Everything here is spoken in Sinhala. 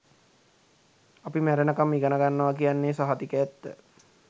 අපි මැරෙනකම් ඉගෙනගන්නව කියන්නෙ සහතික ඇත්ත